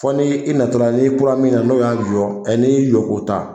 Fo ni i natola n'i kura min na n'o y'a jɔ ɛ n'i y'i jɔ k'o ta